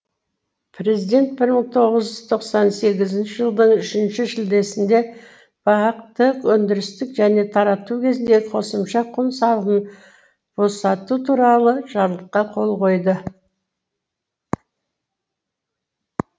президент бір мың тоғыз жүз тоқсан тоғызыншы жылдың үшінші шілдесінде бақ ты өндірістік және тарату кезіндегі қосымша құн салығын босату туралы жарлыққа қол қойды